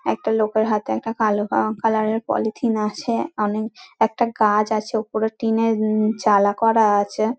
একটা লোকের হাতে একটা কালো কা কালার -এর পলিথিন আছে অনেক একটা গাছ আছে ওপরের টিন -এর চালা করা আছে।